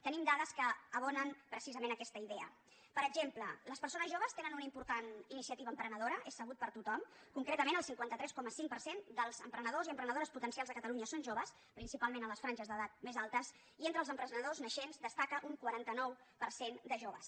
tenim dades que abonen precisament aquesta idea per exemple les persones joves tenen una important iniciativa emprenedora és sabut per tothom concretament el cinquanta tres coma cinc per cent dels emprenedors i emprenedores potencials de catalunya són joves principalment en les franges d’edat més altes i entre els emprenedors naixents destaca un quaranta nou per cent de joves